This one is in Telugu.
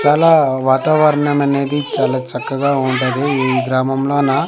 చాలా వాతావరణం అనేది చాలా చక్కగా వుండదీ ఈ గ్రామంలోన--